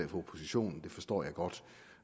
oppositionen det forstår jeg godt